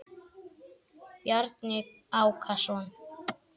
Bjarni Ákason.